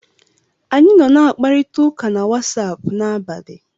Anyị nọ n'akparita na Watsaapụ n'abalị.